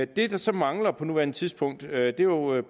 det der så mangler på nuværende tidspunkt er jo